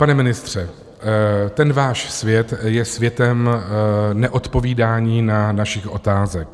Pane ministře, ten váš svět je světem neodpovídání na naše otázky.